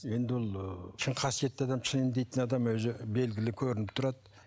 енді ол ы шын қасиетті адам шын емдейтін адам өзі белгілі көрініп тұрады